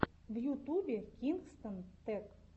в ютубе кингстон тэк